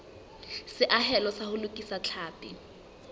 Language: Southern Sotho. seahelo sa ho lokisa tlhapi